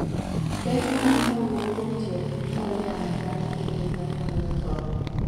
Ber mane mawuok kwuom tiyo gi mbolea madala ne gwen manyuolo tong?